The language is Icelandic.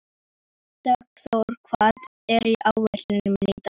Dagþór, hvað er á áætluninni minni í dag?